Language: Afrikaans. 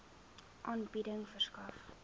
aanbieding verskaf